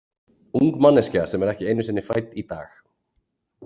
Ung manneskja sem er ekki einu sinni fædd í dag.